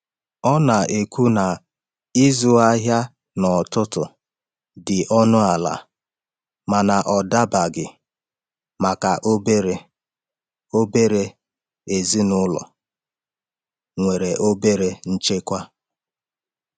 Ọ na-ekwu na ịzụ ahịa n’ọtụtù dị ọnụ ala mana ọ dabaghị maka obere obere ezinụlọ nwere obere nchekwa.